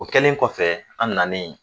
O kɛlen kɔfɛ an nanen